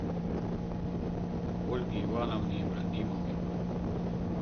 ольге ивановне ибрагимовой